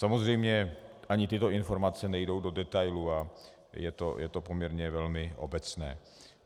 Samozřejmě ani tyto informace nejdou do detailů a je to poměrně velmi obecné.